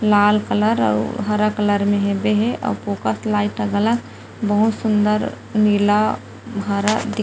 लाल colour अउ हरा colour में हेबे हे और बहुत सुन्दर नीला हरा दिख-- .